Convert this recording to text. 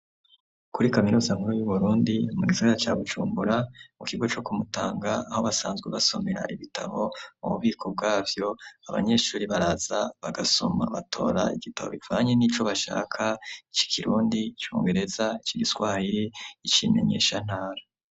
Kuri kaminuza nkuru y'Uburundi, mugisagara ca Bujumbura, kukigo co kumutanga , aho basanzwe basomera ibitabo, ububiko bwavyo abanyeshure baraza bagasoma, batora igitabo batora bivanye nico bashaka c'ikirundi , icongereza ic'igiswahiri, ic'imenyeshantara.